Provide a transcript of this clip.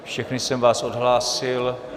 Všechny jsem vás odhlásil.